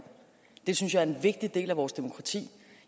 det synes jeg er en vigtig del af vores demokrati